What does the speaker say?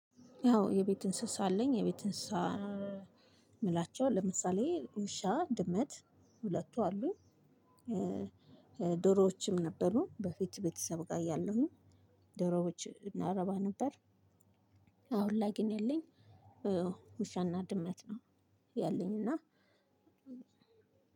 ያው የቤት እንስሳ አለኝ የቤት አንስሳት የምላቸው ለምሳሌ ውሻ ድመት ሁለቱ አሉኝ። ዶሮዎችም ነበሩ በፊት ቤተሰብ ጋር እያለሁኝ ዶሮዎች እናረባ ነበር። አሁን ላይ ግን ያለኝ ውሻና ድመት ነው። ያለኝ እና